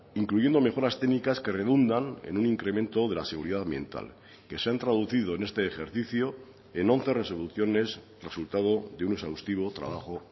incluyendo mejoras técnicas que redundan en un incremento de la seguridad ambiental que se han traducido en este ejercicio en once resoluciones resultado de un exhaustivo trabajo